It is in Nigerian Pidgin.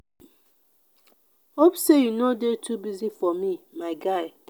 hope say you no dey too busy for me my guy.